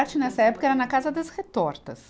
Arte, nessa época, era na Casa das Retortas.